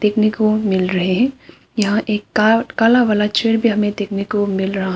को मिल रहे है यहां एक का काला वाला चेयर भी हमे देखने को मिल रहा--